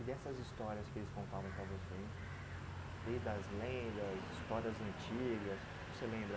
E dessas histórias que eles contavam para você hein, desde as lendas, histórias antigas, o que que você lembra?